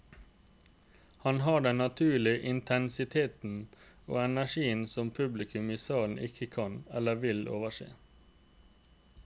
Han har den naturlige intensiteten og energien som publikum i salen ikke kan, eller vil, overse.